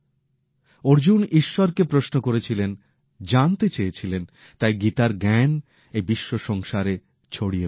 অর্জুন ঈশ্বরকে প্রশ্ন করেছিলেন জানতে চেয়েছিলেন তাই গীতার জ্ঞান এই বিশ্বসংসারে ছড়িয়ে পড়ে